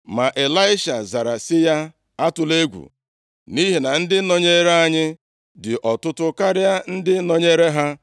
Ma Ịlaisha zara sị ya, “Atụla egwu, nʼihi na ndị nọnyere anyị dị ọtụtụ karịa ndị nọnyeere ha.”